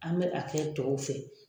An bɛ a kɛ tɔw fɛ.